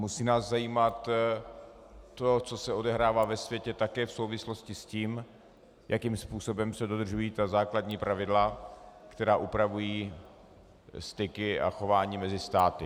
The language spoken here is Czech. Musí nás zajímat to, co se odehrává ve světě, také v souvislosti s tím, jakým způsobem se dodržují ta základní pravidla, která upravují styky a chování mezi státy.